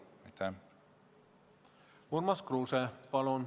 Urmas Kruuse, palun!